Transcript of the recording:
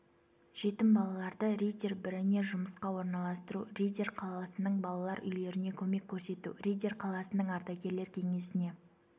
жетім балаларды риддер біріне жұмысқа орналастыру риддер қаласының балалар үйлеріне көмек көрсету риддер қаласының ардагерлер кеңесіне